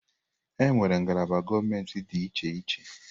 Enwere ngalaba gọọmentị dị iche iche.